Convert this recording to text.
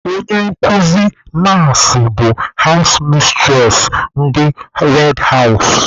Onye nkụzi mas bụ hawụs mistures ndị red hawụs.